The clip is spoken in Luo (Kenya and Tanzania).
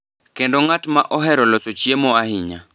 kendo ng’at ma ohero loso chiemo ahinya.